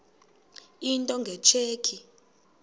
into nge tsheki